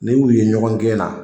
Ne y'u ye ɲɔgɔn gɛn na